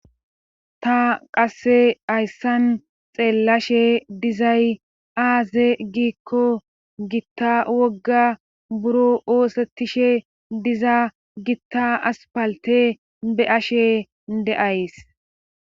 Ta qassi hayssan xeellashe dizay aaze giikko gitta wogga buro oosettishe diza gitta asppaltte be7ashe de7ays.